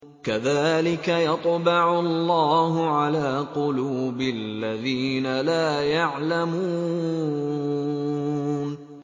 كَذَٰلِكَ يَطْبَعُ اللَّهُ عَلَىٰ قُلُوبِ الَّذِينَ لَا يَعْلَمُونَ